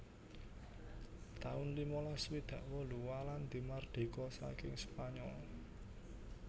taun limalas swidak wolu Walandi mardika saking Spanyol